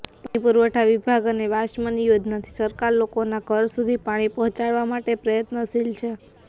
પાણી પુરવઠા વિભાગ અને વાસ્મોની યોજનાથી સરકાર લોકોના ઘર સુધી પાણી પહોચાડવા માટે પ્રયત્નશીલ છે